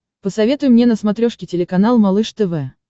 посоветуй мне на смотрешке телеканал малыш тв